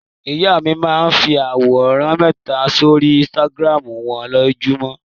Ìyá mi máa ń fi àwòrán mẹta sórí Instagram wọn lójúmọ́.